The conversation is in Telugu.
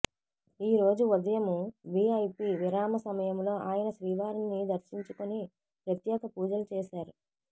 ఈ రోజు ఉదయం విఐపి విరామ సమయంలో ఆయన శ్రీవారిని దర్శించుకొని ప్రత్యేక పూజలు చేశారు